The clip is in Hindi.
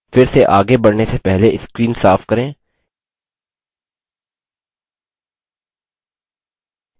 फिर से again बढ़ने से पहले screen साफ करें